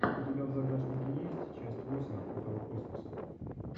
у тебя в загашнике есть часть восемь открытого космоса